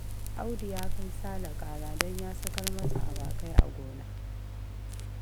Audu ya kai Sale ƙara don ya sakar masa awakai a gona